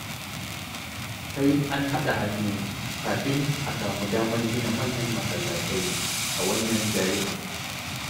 Sai an haɗa hannu kafin a samu damar gina manyan masallatai a wannan garin.